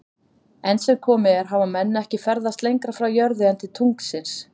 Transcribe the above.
Enn sem komið er hafa menn ekki ferðast lengra frá jörðu en til tunglsins.